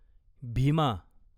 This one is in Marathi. भीमा